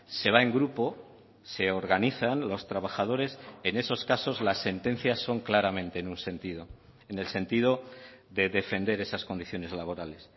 se va en grupo se organizan los trabajadores en esos casos las sentencias son claramente en un sentido en el sentido de defender esas condiciones laborales